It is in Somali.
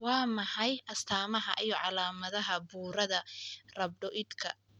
Waa maxay astamaha iyo calaamadaha burada Rhabdoidka?